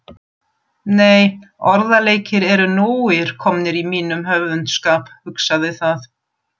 Nei, orðaleikir eru nógir komnir í mínum höfundskap, hugsaði það.